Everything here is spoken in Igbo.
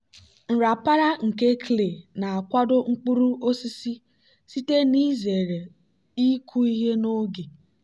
nrapara nke clay na-akwado mkpuru osisi site n'izere ịkụ ihe n'oge.